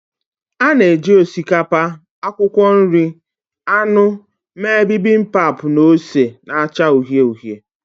A na-eji osikapa, akwụkwọ nri, anụ mee Bibimpap na ose na-acha uhie uhie